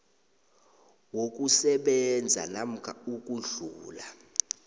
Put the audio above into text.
wokusebenza namkha ukudlula